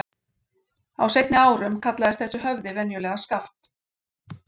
Á seinni árum kallaðist þessi höfði venjulega Skaft.